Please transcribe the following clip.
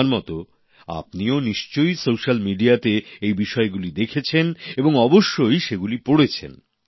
আমার মতো আপনিও নিশ্চই সোশ্যাল মিডিয়াতে এই বিষয়গুলি দেখেছেন এবং অবশ্যই সেগুলি পড়েছেন